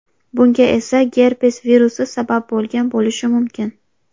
Bunga esa gerpes virusi sabab bo‘lgan bo‘lishi mumkin.